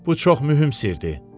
Bu çox mühüm sirdir.